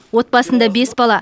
отбасында бес бала